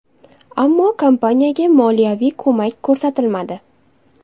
Ammo kompaniyaga moliyaviy ko‘mak ko‘rsatilmadi.